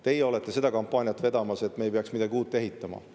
Teie olete seda kampaaniat vedamas, et me ei peaks midagi uut ehitama.